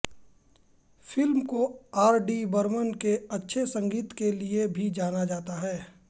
film को R D Burman के अच्छे संगीत के लिये भी जाना जाता है